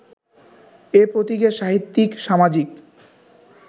এ প্রতীকের সাহিত্যিক-সামাজিক